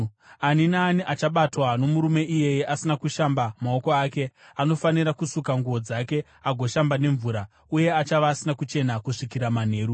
“ ‘Ani naani achabatwa nomurume iyeye asina kushamba maoko ake anofanira kusuka nguo dzake agoshamba nemvura, uye achava asina kuchena kusvikira manheru.